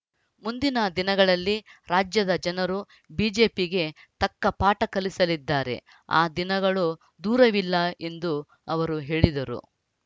ಮುಂದಿನ ದಿನಗಳಲ್ಲಿ ರಾಜ್ಯದ ಜನರು ಬಿಜೆಪಿಗೆ ತಕ್ಕ ಪಾಠ ಕಲಿಸಲಿದ್ದಾರೆ ಆ ದಿನಗಳೂ ದೂರವಿಲ್ಲ ಎಂದು ಅವರು ಹೇಳಿದರು